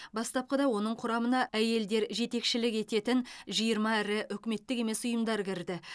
бастапқыда оның құрамына әйелдер жетекшілік ететін жиырма ірі үкіметтік емес ұйымдар кірді